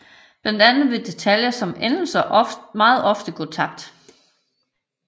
Blandt andet vil detaljer som endelser meget ofte gå tabt